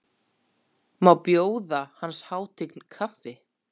Má bjóða hans hátign kaffi?